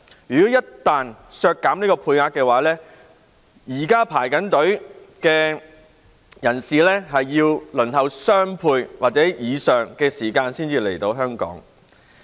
一旦削減配額，現時的申請人要輪候雙倍或以上時間才可以來港。